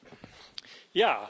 Frau Präsidentin!